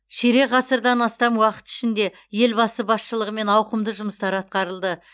ширек ғасырдан астам уақыт ішінде елбасы басшылығымен ауқымды жұмыстар атқарылды